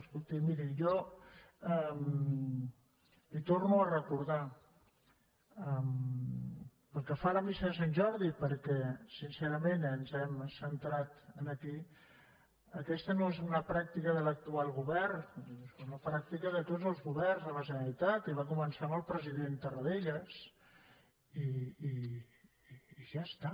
escolti miri jo li ho torno a recordar pel que fa a la missa de sant jordi perquè sincerament ens hem centrat aquí aquesta no és una pràctica de l’actual govern és una pràctica de tots els governs de la generalitat i va començar amb el president tarradellas i ja està